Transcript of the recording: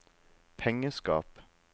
pengeskap